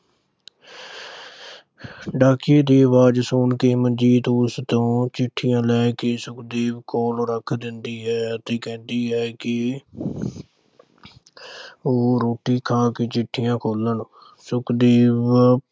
ਡਾਕੀਏ ਦੀ ਆਵਾਜ਼ ਸੁਣ ਕੇ ਮਨਜੀਤ ਉਸ ਕੋਲੋਂ ਚਿੱਠੀਆਂ ਲੈ ਕੇ ਸੁਖਦੇਵ ਕੋਲ ਰੱਖ ਦਿੰਦੀ ਹੈ। ਤੇ ਕਹਿੰਦੀ ਹੈ ਕਿ ਉਹ ਰੋਟੀ ਖਾ ਕੇ ਚਿੱਠੀਆਂ ਖੋਲ੍ਹਣ। ਸੁਖਦੇਵ